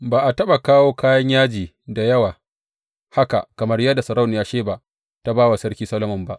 Ba a taɓa kawo kayan yaji da yawa haka kamar yadda sarauniyar Sheba ta ba wa Sarki Solomon ba.